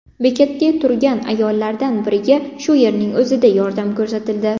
Bekatda turgan ayollardan biriga shu yerning o‘zida yordam ko‘rsatildi.